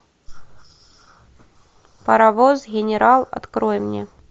паровоз генерал открой мне